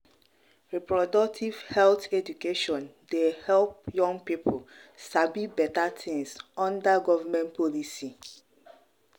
reproductive health education dey help young people sabi better things under government policy.